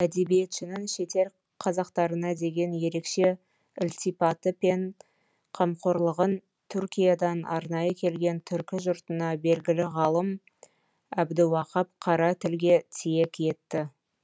әдебиетшінің шетел қазақтарына деген ерекше ілтипаты пен қамқорлығын түркиядан арнайы келген түркі жұртына белгілі ғалым әбдіуақап қара тілге тиек етті